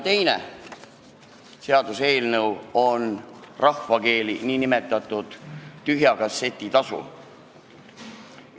Teine seaduseelnõu on rahvakeeli nn tühja kasseti tasu eelnõu.